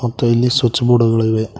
ಮತ್ತು ಇಲ್ಲಿ switch board ಗಳು ಇವೆ.